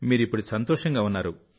మీరు ఇప్పుడు సంతోషంగా ఉన్నారు